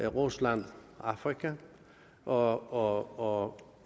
rusland afrika og og